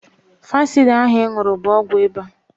Fansida ahụ ị ṅụrụ bụ ọgwụ ịba